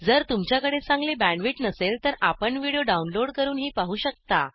जर तुमच्याकडे चांगली बॅण्डविड्थ नसेल तर आपण व्हिडिओ डाउनलोड करूनही पाहू शकता